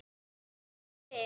Nýtileg spil.